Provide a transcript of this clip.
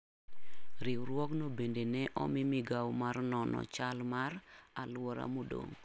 Riwruogno bende ne omi migawo mar nono chal mar alwora modong'.